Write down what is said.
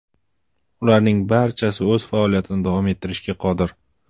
Ularning barchasi o‘z faoliyatini davom ettirishga qodir.